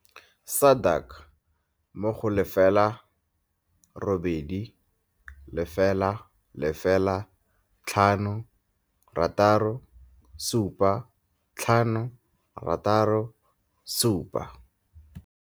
SADAG mo go 0800 567 567.